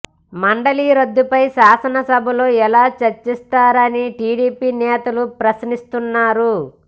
మండలి రద్దుపై శాసన సభలో ఎలా చర్చిస్తారని టీడీపీ నేతలు ప్రశ్నిస్తునారు